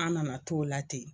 An nana to o la ten.